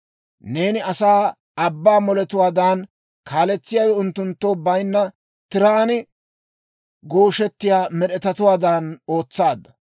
Neeni asaa abbaa moletuwaadan, kaaletsiyaawe unttunttoo bayinna tiraan gooshettiyaa med'etatuwaadan ootsaadda.